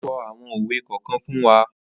O so awon owe kokan fun wa